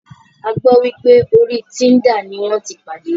A gbọ́ wípé orí Tinder ní wọ́n tí pàdé.